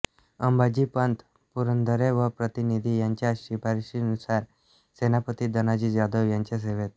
अंबाजीपंत पुरंदरे व प्रतिनिधी यांच्या शिफारशीनुसार सेनापती धनाजी जाधव यांच्या सेवेत